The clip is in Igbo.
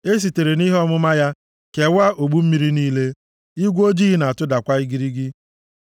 Esitere nʼihe ọmụma ya kewaa ogbu mmiri niile, igwe ojii na-atụdakwa igirigi.